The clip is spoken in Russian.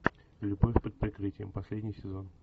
любовь под прикрытием последний сезон